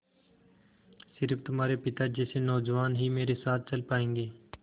स़िर्फ तुम्हारे पिता जैसे नौजवान ही मेरे साथ चल पायेंगे